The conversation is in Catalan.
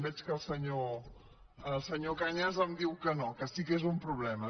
veig que el senyor cañas em diu que no que sí que és un problema